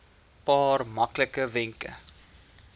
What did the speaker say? paar maklike wenke